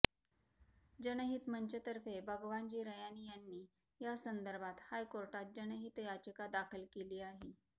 जनहित मंचतर्फे भगवानजी रयानी यांनी यासंदर्भात हायकोर्टात जनहित याचिका दाखल केली आहे